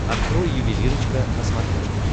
открой ювелирочка на смотрешке